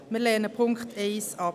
Wir lehnen den Punkt 1 ab.